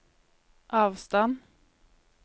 avstand